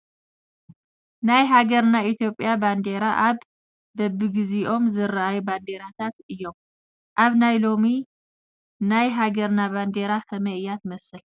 ናይ ሃገረ ኢትዮጵያ ባንዴራ ኣብ በብግዝይኦም ዝተርኣዩ ባንዴራታት እዮም ። ኣብ ናይ ሎሚ ናይ ሃገርና ባንዴራ ከመይ እያ ትመስል ?